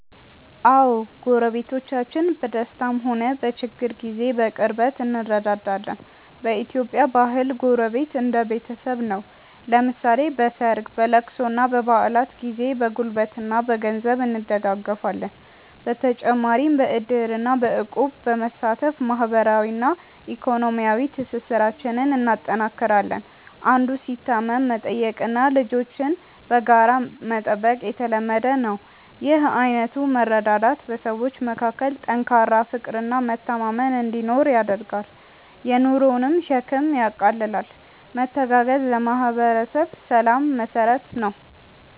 አዎ፣ ጎረቤቶቻችን በደስታም ሆነ በችግር ጊዜ በቅርበት እንረዳዳለን። በኢትዮጵያ ባህል ጎረቤት እንደ ቤተሰብ ነው፤ ለምሳሌ በሰርግ፣ በልቅሶና በበዓላት ጊዜ በጉልበትና በገንዘብ እንደጋገፋለን። በተጨማሪም በዕድርና በእቁብ በመሳተፍ ማህበራዊና ኢኮኖሚያዊ ትስስራችንን እናጠናክራለን። አንዱ ሲታመም መጠየቅና ልጆችን በጋራ መጠበቅ የተለመደ ነው። ይህ አይነቱ መረዳዳት በሰዎች መካከል ጠንካራ ፍቅርና መተማመን እንዲኖር ያደርጋል፤ የኑሮንም ሸክም ያቃልላል። መተጋገዝ ለማህበረሰብ ሰላም መሰረት ነው።